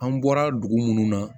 An bɔra dugu munnu na